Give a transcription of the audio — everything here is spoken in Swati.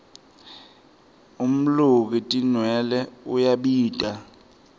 umluki tinwelwe uyabita